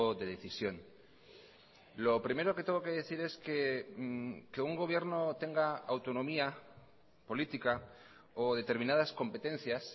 de decisión lo primero que tengo que decir es que que un gobierno tenga autonomía política o determinadas competencias